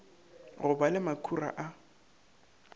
go ba le makhura a